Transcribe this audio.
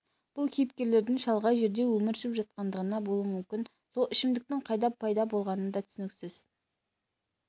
бұл кейіпкерлердің шалғай жерде өмір сүріп жатқандығынан болуы мүмкін сол ішімдіктің қайдан пайда болғаны да түсініксіз